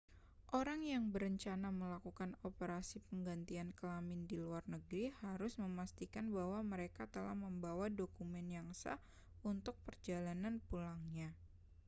orang yang berencana melakukan operasi penggantian kelamin di luar negeri harus memastikan bahwa mereka telah membawa dokumen yang sah untuk perjalanan pulangnya